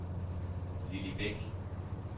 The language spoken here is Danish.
Lilli Beck